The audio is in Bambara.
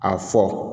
A fɔ